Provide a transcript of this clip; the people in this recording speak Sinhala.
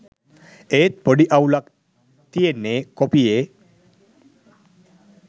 ඒත් පොඩි අවුලක් තියෙන්නෙ කොපියෙ